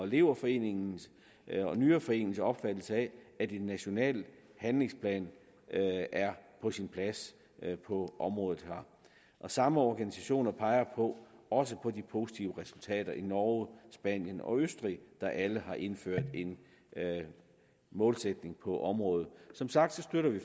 leverforeningen og nyreforeningens opfattelse af at en national handlingsplan er på sin plads på området her samme organisationer peger også på de positive resultater i norge spanien og østrig der alle har indført en målsætning på området som sagt støtter vi